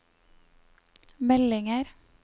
meldinger